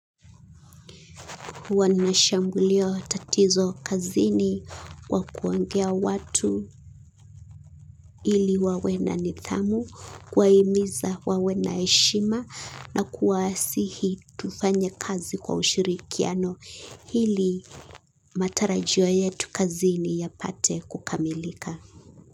Wanashangulio tatizo kazini wakuongea watu hili wawe na nithamu, kuwaimiza wawe na eshima na kuwasihi tufanye kazi kwa ushirikiano hili matarajio yetu kazini yapate kukamilika.